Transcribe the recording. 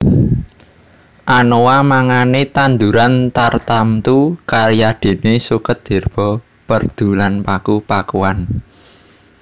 Anoa mangane tanduran tartamtu kayadene suket herba perdu lan paku pakuan